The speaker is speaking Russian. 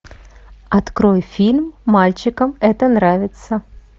открой фильм мальчикам это нравится